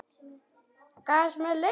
Gas sem leysir